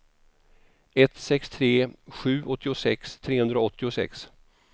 ett sex tre sju åttiosex trehundraåttiosex